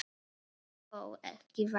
Þó ekki væri.